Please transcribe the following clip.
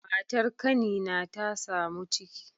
Matar kanina ta samu ciki